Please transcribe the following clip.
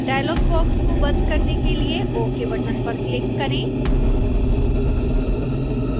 dialogue box को बंद करने के लिए ok बटन पर क्लिक करें